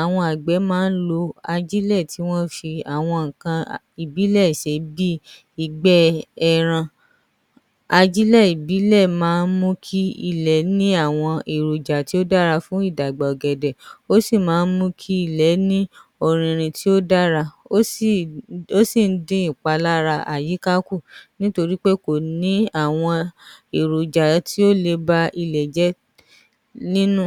àwọn àgbẹ̀ máa ń lo ajílẹ̀ tí wọ́n ń fi àwọn nǹkan ìbílẹ̀ ṣe bíi ìgbẹ́ ẹran, ajílẹ̀ ìbílẹ̀ máa mú kí ilẹ̀ ní àwọn èròjà tó dára fún ìdàgbà ọ̀gẹ̀dẹ̀ ó sì maa ń mú kí ilẹ̀ ní ọ̀rìnrìn tó dára, ó sì ń dín ìpalára àyíká kù nítorí pé kò ní àwọn èròjà tó le ba ilẹ̀ jẹ́ nínú.